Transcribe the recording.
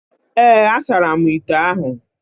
Ee, a saramu ite ahụ